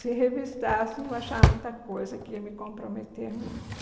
Se revistassem, iam achar muita coisa que ia me comprometer muito.